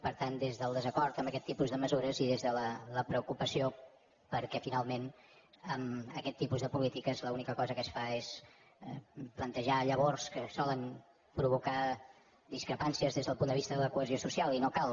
per tant des del desacord amb aquest tipus de mesures i des de la preocupació perquè finalment aquest tipus de polítiques l’única cosa que fa és plantejar llavors que solen provocar discrepàncies des del punt de vista de la cohesió social i no cal